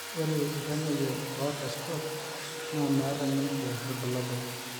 ore iltamoyia oota SCOT naa meeta ninche irbulabol